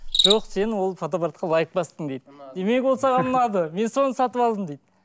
жоқ сен ол фотоапартқа лайк бастың дейді демек ол саған ұнады мен соны сатып алдым дейді